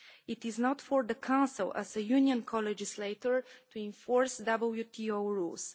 It is not for the Council, as a Union co legislator, to enforce WTO rules.